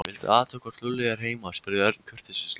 Viltu athuga hvort Lúlli er heima spurði Örn kurteislega.